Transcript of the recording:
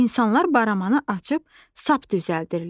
İnsanlar baramanı açıb sap düzəldirlər.